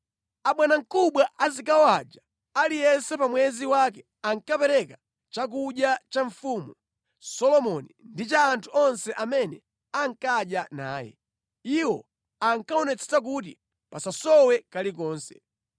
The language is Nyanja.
Abwanamkubwa a zigawo aja, aliyense pa mwezi wake, ankapereka chakudya cha Mfumu Solomoni ndi cha anthu onse amene ankadya naye. Iwo ankaonetsetsa kuti pasasowe kalikonse.